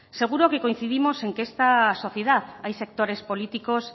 seguro que coincidimos en que en esta sociedad hay sectores políticos